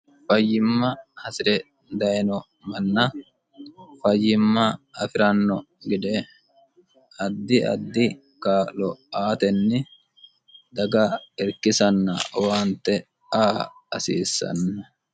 fayyimma hasi're dayeno manna fayyimma afi'ranno gede addi addi kaalo aatenni daga irkisanna owaante aa hasiissanno